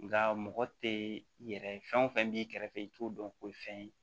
Nga mɔgɔ tɛ i yɛrɛ ye fɛn o fɛn b'i kɛrɛfɛ i t'o dɔn o ye fɛn ye